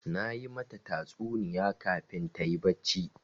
Na yi mata tatsuniya kafin ta yi barci.